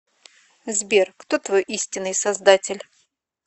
сбер кто твой истинный создатель